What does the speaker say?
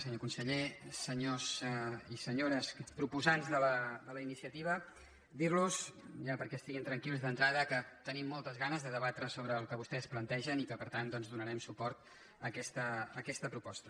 senyor conseller senyors i senyores proposants de la iniciativa dir los ja perquè estiguin tranquils d’entrada que tenim moltes ganes de debatre sobre el que vostès plantegen i que per tant doncs donarem suport a aquesta proposta